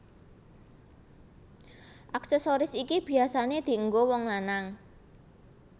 Aksesoris iki biyasané dienggo wong lanang